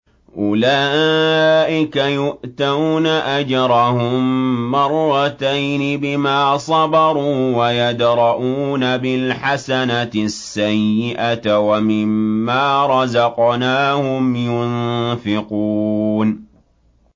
أُولَٰئِكَ يُؤْتَوْنَ أَجْرَهُم مَّرَّتَيْنِ بِمَا صَبَرُوا وَيَدْرَءُونَ بِالْحَسَنَةِ السَّيِّئَةَ وَمِمَّا رَزَقْنَاهُمْ يُنفِقُونَ